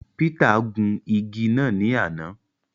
Peter gun ìgi náà ní àna